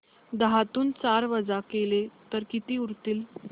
दहातून चार वजा केले तर किती उरतील